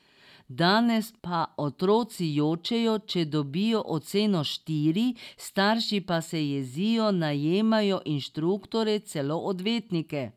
Danes pa otroci jočejo, če dobijo oceno štiri, starši pa se jezijo, najemajo inštruktorje, celo odvetnike.